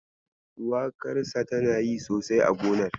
Shuwakarsa tana yi sosai a gonar.